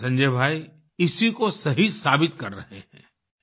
हमारे संजय भाई इसी को सही साबित कर रहे हैं